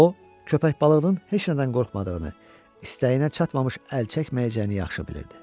O köpək balığının heç nədən qorxmadığını, istəyinə çatmamış əl çəkməyəcəyini yaxşı bilirdi.